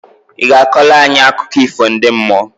I ga akọlụ anyị akụkọ ifo ndi mmuoǃ